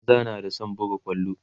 maza na da San buga kwallo